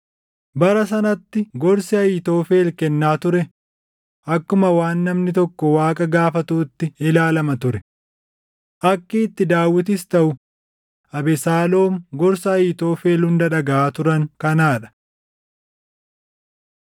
Bara sanatti gorsi Ahiitofel kennaa ture akkuma waan namni tokko Waaqa gaafatuutti ilaalama ture. Akki itti Daawitis taʼu Abesaaloom gorsa Ahiitofel hunda dhagaʼaa turan kanaa dha.